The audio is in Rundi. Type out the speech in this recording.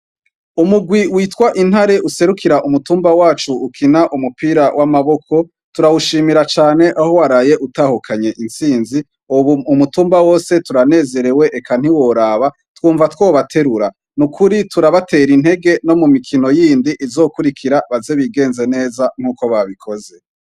Umugwi witwa intare userukira umutumba wacu ukina umupira w'amaboko turawushimira cane aho waraye utahukanye intsinzi, ubu umutumba wose turanezerewe eka ntiworaba twumva twobaterura ni ukuri turabatera intege no mu mikino yindi izokurikira baze bigenze neza nk'uko babikoze zen.